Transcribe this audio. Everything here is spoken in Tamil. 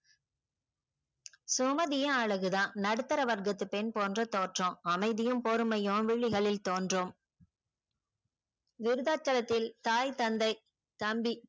சுமதியும் அழகு தான் நடுத்தர வர்கத்து பெண் போன்ற தோற்றம் அமைதியும் பொறுமையும் விழிகளில் தோன்றும் விருதாச்சலத்தில் தாய் தந்தை தம்பி